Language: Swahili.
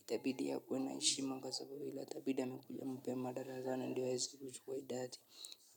Itabidi amekuja mapema darasani ndio aweze kuchukua idadi.